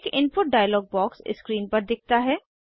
एक input dialog box screen पर दिखता है